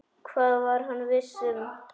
Það var hann viss um.